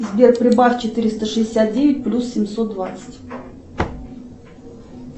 сбер прибавь четыреста шестьдесят девять плюс семьсот двадцать